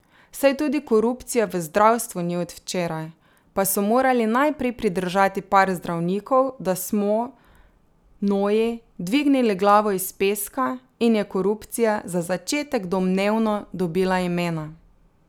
Saj tudi korupcija v zdravstvu ni od včeraj, pa so morali najprej pridržati par zdravnikov, da smo, noji, dvignili glavo iz peska, in je korupcija, za začetek domnevno, dobila imena.